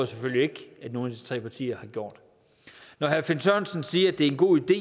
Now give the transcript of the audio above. selvfølgelig ikke at nogen af de tre partier har gjort når herre finn sørensen siger at det er en god idé